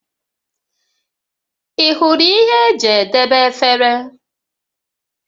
Ị hụrụ ihe eji edebe efere?